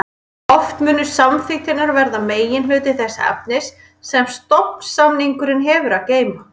Oft munu samþykktirnar verða meginhluti þess efnis sem stofnsamningurinn hefur að geyma.